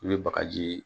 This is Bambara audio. I bɛ bagaji ye